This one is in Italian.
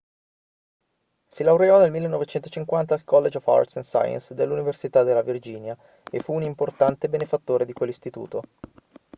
si laureò nel 1950 al college of arts & sciences dell'università della virginia e fu un importante benefattore di quell'istituto